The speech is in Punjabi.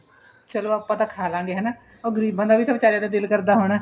ਚਲੋ ਆਪਾਂ ਤਾਂ ਖਾ ਲਵਾਂਗੇ ਹਨਾ ਉਹ ਗਰੀਬਾਂ ਦਾ ਵੀ ਵਿਚਾਰਿਆਂ ਦਾ ਦਿਲ ਕਰਦਾ ਹੋਣਾ